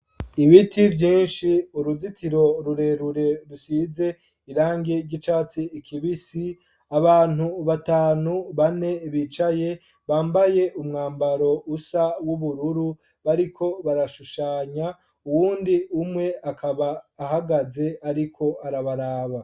Ibiti vyinshi uruzitiro rurerure rusize irangi ryi catsi kibisi abantu batanu ,bane bicaye umwambaro ubururu bariko barashushanya ,uwundi umwe akaba ahagaze ariko arabaraba.